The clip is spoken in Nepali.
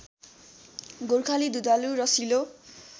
गोर्खाली दुधालु रसिलो